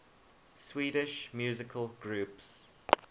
swedish musical groups